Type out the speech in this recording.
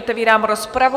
Otevírám rozpravu.